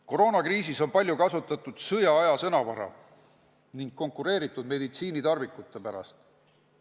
Koroonakriisis on palju kasutatud sõjaaja sõnavara ning konkureeritud meditsiinitarvikute pärast.